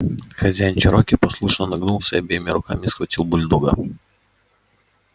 хозяин чероки послушно нагнулся и обеими руками схватил бульдога